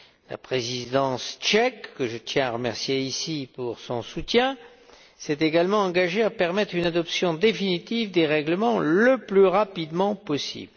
La Présidence tchèque, que je tiens à remercier ici pour son soutien, s'est également engagée à permettre une adoption définitive des règlements le plus rapidement possible.